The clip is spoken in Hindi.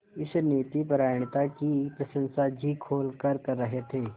इस नीतिपरायणता की प्रशंसा जी खोलकर कर रहे थे